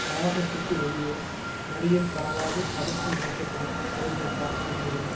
வளாகத்துக்கு வெளியே மறியல் பரவாது தடுக்கும் நோக்கத்துடன் செயல்பட்டார் என்கிறது